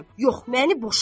Yox, məni boşa.